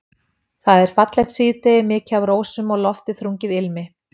Það er fallegt síðdegi, mikið af rósum og loftið þrungið ilmi.